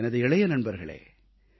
எனது இளைய நண்பர்களே